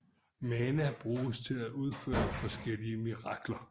Mana bruges til at udføre forskellige mirakler